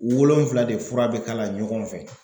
O wolonfila de fura bɛ k'a la ɲɔgɔn fɛ